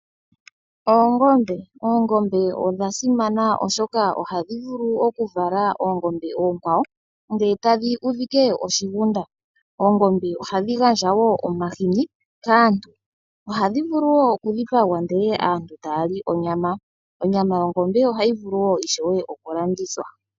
Oongombe odhasimana oshoka ohadhi vala uutana nuutana mbuka shampa wakoko opo nee hawu ningi oongombe oonene eta dhudhitha oshigunda. Oongombe ohadhi gandja woo omahini kaantu, ohadhi vulu woo kudhipangwa naantu etaali onyama, nonyama yongombe ohayivulu woo okukalandithwa.